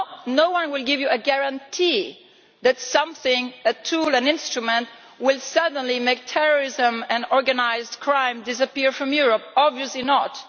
No one will give you a guarantee that something a tool, an instrument will suddenly make terrorism and organised crime disappear from Europe, obviously not.